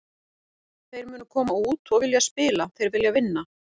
Þeir munu koma út og vilja spila, þeir vilja vinna.